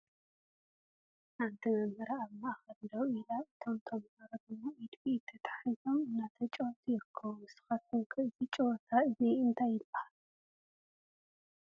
ሓንቲ መምህር ኣብ ማዕከል ደው ኢላ እቶም ተምሃሮ ድማ ኢድ ብኢድ ተታሒዞም እናተጨወቱ ይርከቡ ። ንስካትኩም ከ እዚ ጨወታ እዙይ እንታይ ይባሃል ?